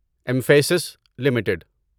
emphasis limited